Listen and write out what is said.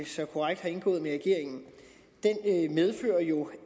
så korrekt har indgået med regeringen medfører jo